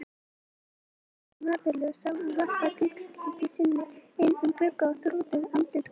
Á himnum dansa norðurljós og varpa gulleitu skini inn um glugga á þrútið andlit konunnar.